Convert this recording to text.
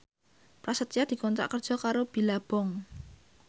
Prasetyo dikontrak kerja karo Billabong